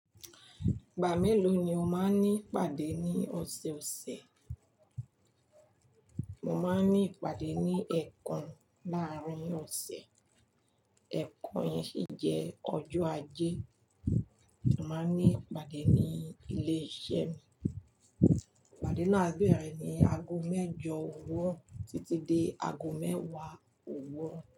Ìgbà mélòó ni o máa ń ní ìpàdé ní ọ̀sẹ̀ọ̀sẹ̀? Mo máa ń ní ìpàdé lẹ́ẹ̀kan láàárín ọ̀sẹ̀. Ẹ̀ẹ̀kan yẹn sì jẹ́ ọjọ́ ajé. A máa ní ìpàdé ní ilé iṣẹ́ mi. Ìpàdé náà béèrè ní ago mẹ́jọ òwúrọ̀ títí dé ago mẹ́wàá òwúrọ̀